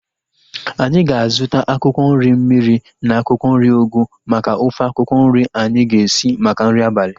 Anyị ga-azuta akwụkwọ nri mmiri na akwụkwọ nri ugu maka ofe akwụkwọ nri anyi ga-esi maka nri abalị